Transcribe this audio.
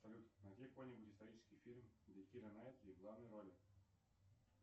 салют найди какой нибудь исторический фильм где кира найтли в главной роли